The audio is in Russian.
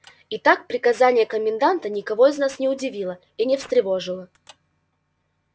итак приказание коменданта никого из нас не удивило и не встревожило